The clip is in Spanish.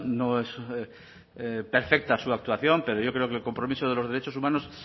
no es perfecta su actuación pero yo creo que el compromiso de los derechos humanos